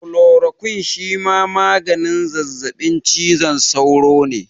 Kulorokwin shima maganin zazzaɓin cizon sauro ne